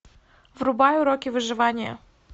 врубай уроки выживания